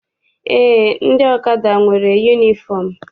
Eé, ndị ọkada nwere yunifọm.